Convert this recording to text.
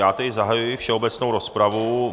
Já tedy zahajuji všeobecnou rozpravu.